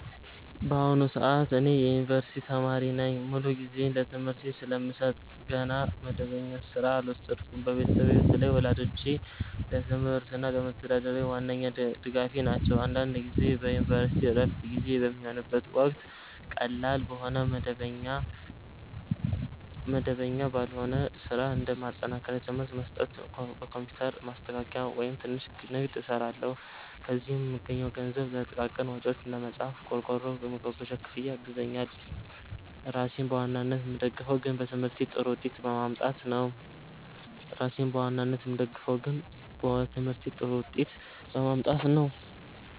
በአሁኑ ሰዓት እኔ የዩኒቨርሲቲ ተማሪ ነኝ። ሙሉ ጊዜዬን ለትምህርቴ ስለምሰጥ ገና መደበኛ ሥራ አልወሰድኩም። ቤተሰቤ፣ በተለይ ወላጆቼ፣ ለትምህርቴ እና ለመተዳደሪያዬ ዋነኛ ድጋፌ ናቸው። አንዳንድ ጊዜ በዩኒቨርሲቲ ዕረፍት ጊዜ በሚሆንበት ወቅት ቀላል የሆነ መደበኛ ባልሆነ ሥራ (እንደ ማጠናከሪያ ትምህርት መስጠት፣ ኮምፒውተር ማስተካከያ፣ ወይም ትንሽ ንግድ) እሰራለሁ። ከዚህ የምገኘው ገንዘብ ለጥቃቅን ወጪዎቼ (እንደ መጽሐፍ፣ ቆርቆሮ፣ የመጓጓዣ ክፍያ) ያግዘኛል። ራሴን በዋናነት የምደግፈው ግን በትምህርቴ ጥሩ ውጤት በማምጣት ነው።